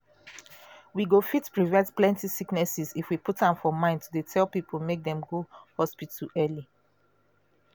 we go fit prevent plenty sicknesses if we put am for mind to dey tell people make dem go hospital early.